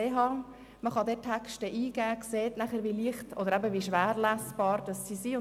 Man kann dort Texte eingeben und sieht dann, wie leicht oder wie schwer lesbar sie sind.